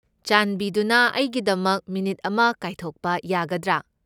ꯆꯥꯟꯕꯤꯗꯨꯅ ꯑꯩꯒꯤꯗꯃꯛ ꯃꯤꯅꯤꯠ ꯑꯃ ꯀꯥꯏꯊꯣꯛꯄ ꯌꯥꯒꯗ꯭ꯔꯥ?